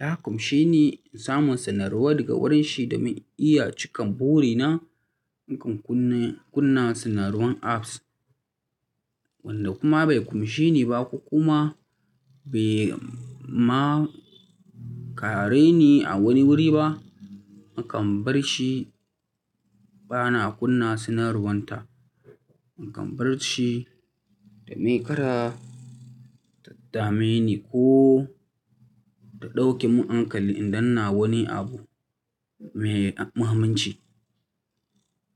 ya ƙunshe ni in samu sanarwa daga wurin shi domin in iya cika burina, nakan kunna sanarwan apps. Wanda kuma bai ƙonshi ni ba ko kuma bai ma kare ni a wani wuri ba, na kan bar shi. Bana kunna sanarwan ta. Ni kan bar shi domin kada ta dame ni ko ta ɗauke mun hankali idan ina wani abu mai muhimmanci.